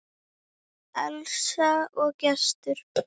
Elsa og Gestur.